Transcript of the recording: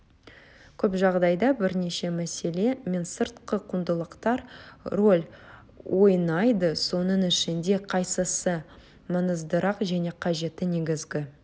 көп жағдайда бірнеше мәселе мен сыртқы құндылықтар рөл ойнайды соның ішінде қайсысы маңыздырақ және қажетті негізгі